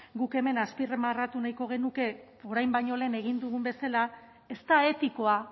guk hemen azpimarratu nahiko genuke orain baino lehen egin dugun bezala ez da etikoa